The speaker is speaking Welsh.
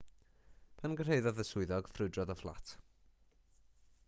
pan gyrhaeddodd y swyddog ffrwydrodd y fflat